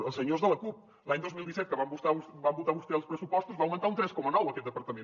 als senyors de la cup l’any dos mil disset que van votar vostès els pressupostos va augmentar un tres coma nou aquest departament